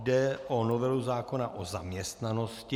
Jde o novelu zákona o zaměstnanosti.